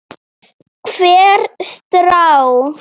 Hvert strá.